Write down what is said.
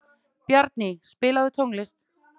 Bjarný, spilaðu tónlist.